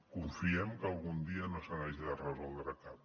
confiem que algun dia no se n’hagi de resoldre cap